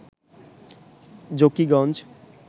Zakiganj